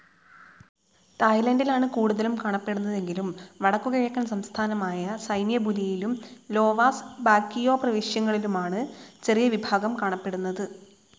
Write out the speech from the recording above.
തായ്ലാൻഡിലാണ് കൂടുതലും കാണപ്പെടുന്നതെങ്കിലും വടക്കുകിഴക്കൻ സംസ്ഥാനമായ സൈന്യബുലിയിലും ലോവാസ് ബോകിയോപ്രവിശ്യകളിലുമാണ് ചെറിയ വിഭാഗം കാണപ്പെടുന്നത്.